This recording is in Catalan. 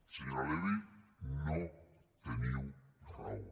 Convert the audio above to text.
senyora levy no teniu raó